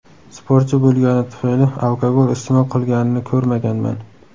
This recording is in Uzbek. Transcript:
Sportchi bo‘lgani tufayli alkogol iste’mol qilganini ko‘rmaganman.